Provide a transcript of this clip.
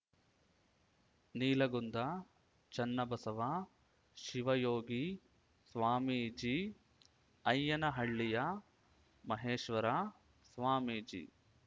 ನೀಲಗುಂದ ಚನ್ನಬಸವ ಶಿವಯೋಗಿ ಸ್ವಾಮೀಜಿ ಐಯ್ಯನಹಳ್ಳಿಯ ಮಹೇಶ್ವರ ಸ್ವಾಮೀಜಿ